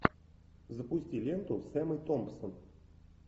запусти ленту с эммой томпсон